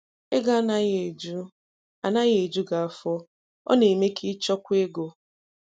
Ego anaghị eju anaghị eju gị afọ, ọ na-eme ka ị chọkwuo ego.